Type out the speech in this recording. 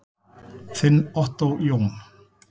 Þinn Ottó Jón.